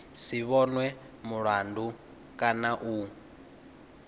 si vhonwe mulandu kana u